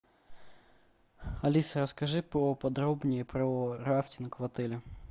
алиса расскажи поподробнее про рафтинг в отеле